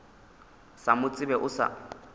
sa mo tsebe o sa